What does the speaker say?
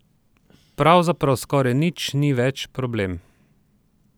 Pravzaprav skoraj nič ni več problem.